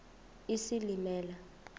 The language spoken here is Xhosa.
isilimela